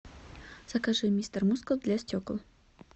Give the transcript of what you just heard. закажи мистер мускул для стекол